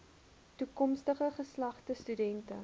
toekomstige geslagte studente